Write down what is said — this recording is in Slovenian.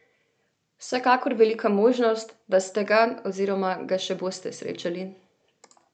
Vsekakor velika možnost, da ste ga oziroma ga še boste srečali.